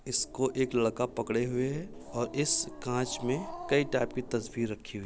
इसको एक लड़का पकड़े हुए है और इस कांच में कई टाइप की तस्वीर रखी हुई --